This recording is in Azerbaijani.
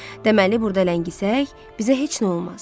Deməli burda ləngisək, bizə heç nə olmaz.